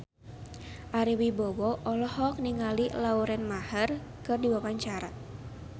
Ari Wibowo olohok ningali Lauren Maher keur diwawancara